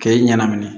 K'e ɲɛna